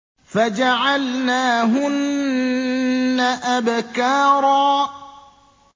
فَجَعَلْنَاهُنَّ أَبْكَارًا